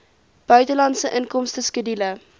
buitelandse inkomste skedule